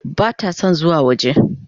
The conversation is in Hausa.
Bata son zuwa waje.